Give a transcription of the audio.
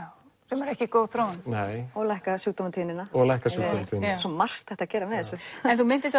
sem er ekki góð þróun og lækkar og lækkar sjúkdómatíðnina svo margt hægt að gera með þessu en þú minntist